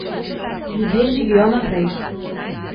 Ljudje živijo naprej.